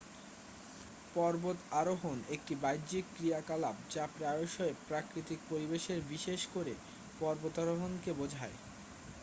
পর্বত আরোহন একটি বাহ্যিক ক্রিয়াকলাপ যা প্রায়শই প্রাকৃতিক পরিবেশে বিশেষ করে পর্বতরোহনকে বোঝায়